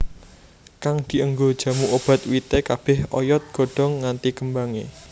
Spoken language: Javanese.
Kang dienggo jamu obat wite kabeh oyod godhong nganti kembange